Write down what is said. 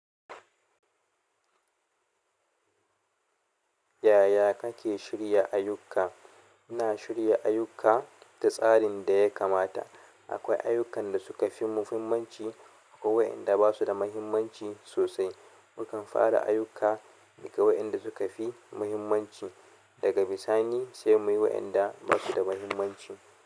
Yaya kake shirya ayyuka? Ina shirya ayyuka da tsarin da ya kamata. Akwai ayukan da suka fi muhimmanci ko waƴanda ba su da muhimmanci sosai. Mukan fara ayyuka daga waƴanda suka fi muhimmanci. Daga bisani sai muyi waɗanda ba su da muhimmanci.